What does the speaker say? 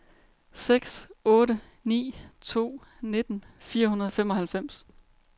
seks otte ni to nitten fire hundrede og femoghalvfems